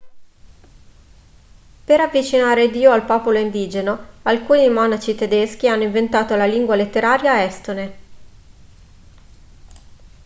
per avvicinare dio al popolo indigeno alcuni monaci tedeschi hanno inventato la lingua letteraria estone